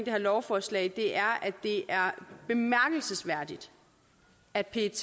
her lovforslag er at det er bemærkelsesværdigt at pet